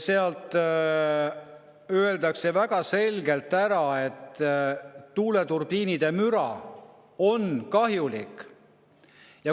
Seal öeldakse väga selgelt, et tuuleturbiinide müra on kahjulik.